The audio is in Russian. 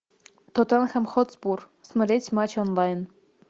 тоттенхэм хотспур смотреть матч онлайн